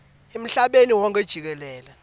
emhlabeni wonkhe jikelele